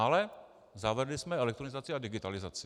Ale zavedli jsme elektronizaci a digitalizaci.